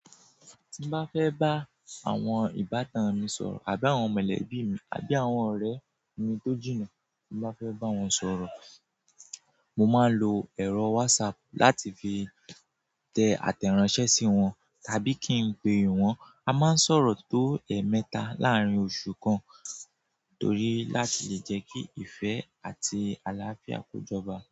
Tí bá fẹ́ bá àwọn ìbátan mi sọ̀rọ̀ àbí àwọn mọ̀lẹ́bí mi àbí àwọn ọ̀rẹ́ mi tó jìnnà, tí bá fẹ́ bá wọn sọ̀rọ̀, mo máa ń lo ẹ̀rọ WhatsApp láti fi tẹ àtẹ̀ránsẹ́ sí wọn tàbí kí n pe wọ́n. A máa ń sọ̀rọ̀ tó ẹ̀ẹ̀mẹta láàárín oṣù kan torí láti lè jẹ́ kí ìfẹ́ àti àlàáfíà kọ jọba.